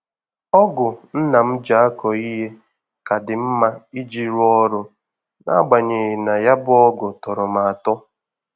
Ọ́gụ̀ nna m ji akọ ihe ka dị mma iji rụọ ọrụ na-agbanyeghị na ya bụ ọ́gụ̀ tọrọ m atọ.